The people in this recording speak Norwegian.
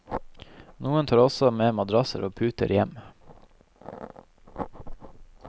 Noen tar også med madrasser og puter hjem.